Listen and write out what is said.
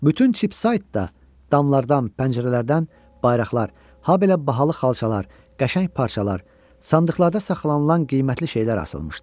Bütün Chipsight da damlardan, pəncərələrdən bayraqlar, habelə bahalı xalçalar, qəşəng parçalar, sandıqlarda saxlanılan qiymətli şeylər asılmışdı.